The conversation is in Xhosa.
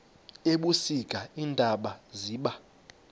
ebusika iintaba ziba